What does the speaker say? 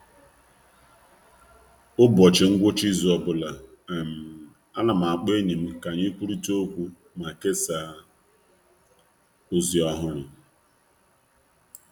Kwa izu ụka ọ bụla, ana m akpọ enyi m ka anyị kpakọrita ma kesaa ụfọdụ mmelite ọhụrụ.